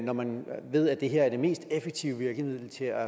når man ved at det her er det mest effektive virkemiddel til at